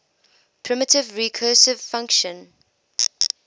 primitive recursive function